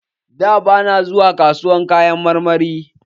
Da, bana zuwa kasuwar Kayan marmari